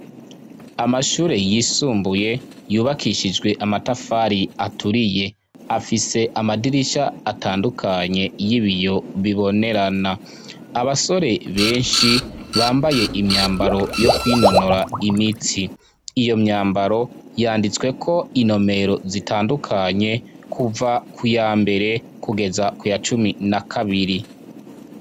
Amashure yisumbuye yubakishijwe amatafari aturiye afise amadirisha atandukanye y'ibiyo bibonerana abasore benshi bambaye imyambaro yo kwinonora imitsi, iyo myambaro yanditsweko inomero zitandukanye kuva ku yambere kugeza kuya cumi na kabiri.